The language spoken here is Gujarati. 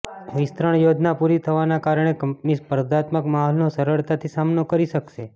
વિસ્તરણ યોજના પૂરી થવાના કારણે કંપની સ્પર્ધાત્મક માહોલનો સરળતાથી સામનો કરી શકશે